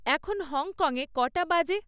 এখন হংকংয়ে কটা বাজে?